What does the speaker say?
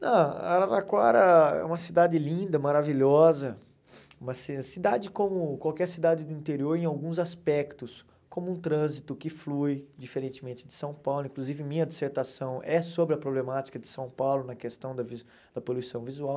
Não, Araraquara é uma cidade linda, maravilhosa, uma ci cidade como qualquer cidade do interior em alguns aspectos, como um trânsito que flui, diferentemente de São Paulo, inclusive minha dissertação é sobre a problemática de São Paulo na questão da vi da poluição visual.